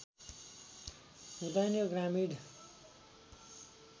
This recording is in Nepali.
हुदैन यो ग्रामीण